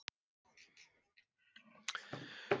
Nei, ég get ekki komið seinna, sagði hann.